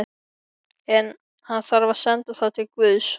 En- hann þarf að senda það til guðs.